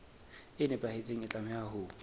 e nepahetseng e tlameha ho